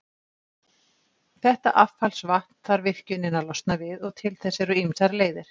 Þetta affallsvatn þarf virkjunin að losna við, og til þess eru ýmsar leiðir.